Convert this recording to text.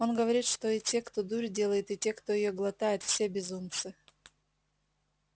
он говорит что и те кто дурь делает и те кто её глотает все безумцы